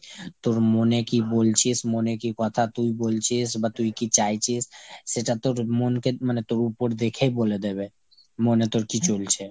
তোর মনে কী বলছিস, মনে কী কথা তুই বলছিস বা তুই কী চাইছিস সেটা তোর মনকে মানে তোর উপর দেখেই বলে দেবে। মনে তোর কী চলছে।